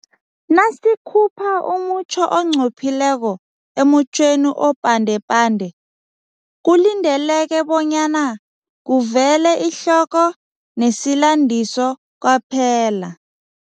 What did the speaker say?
Nasikhupha umutjho onqophileko emutjhweni opandepande, kulindeleke bonyana kuvele ihloko nesilandiso kwaphela.